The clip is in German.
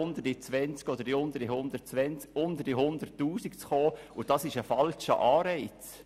Mit einem Steuerrechner ist das eine ganz kleine Sache und damit ein falscher Anreiz.